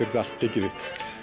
þetta allt gengið upp